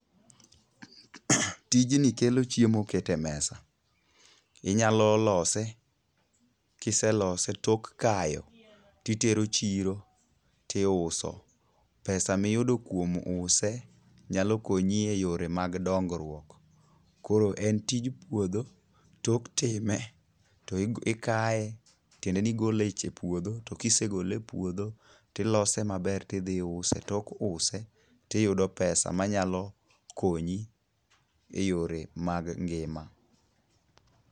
Tijni kelo chiemo keto e mesa. Inyalo lose kiselose tok kayo titero chiro tiuso. Pesa miyudo kuom use nyalo konyi e yore mag dongruok. Koro en tij puodho. Tok time tikaye tiende ni igole e puodho. To kisegole e puodho tilose maber tidhi use. Tok use tiyudo pesa manyalo konyi e yore mag ngima.